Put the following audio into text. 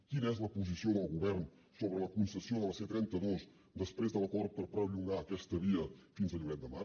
quina és la posició del govern sobre la concessió de la c trenta dos després de l’acord per perllongar aquesta via fins a lloret de mar